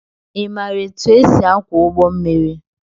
Imara etụ esị akwo ụgbọ mmiri?